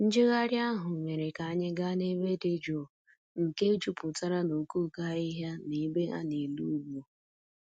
Njegharị ahụ mere ka anyị gaa n'ebe dị jụụ nke jupụtara n'okooko ohịa na ebe a na-ele ugwu.